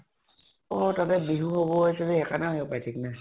অ তাতে বিহু হব actually সেইকাৰণে আহিব পাৰে, থিক নাই।